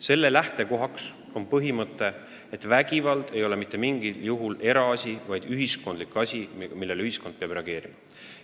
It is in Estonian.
Selle lähtekohaks on põhimõte, et vägivald ei ole mitte mingil juhul eraasi – see on ühiskonda puutuv asi, millele ühiskond peab reageerima.